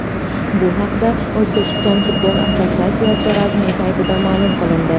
Bu haqida O‘zbekiston futbol assotsiatsiyasi rasmiy saytida ma’lum qilindi .